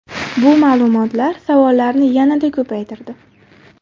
Bu ma’lumotlar savollarni yanada ko‘paytirdi .